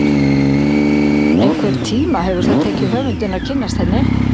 Einhvern tíma hefur það tekið höfundinn að kynnast henni.